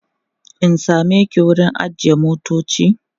in sameki wurin ajiye motoci?